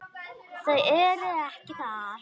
Þau eru ekki þar.